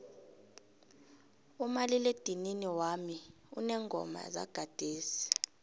umaliledinini wami uneengoma zagadesi